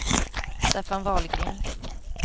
Staffan Wahlgren